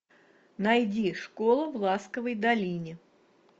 найди школу в ласковой долине